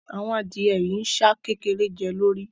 Àwọn adìẹ yìí ń ṣá kékeré jẹ́ lórí